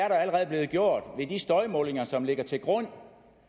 støjmålinger som ligger til grund for